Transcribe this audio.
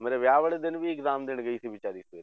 ਮੇਰੇ ਵਿਆਹ ਵਾਲੇ ਦਿਨ ਵੀ exam ਦੇਣ ਗਈ ਸੀ ਬੇਚਾਰੀ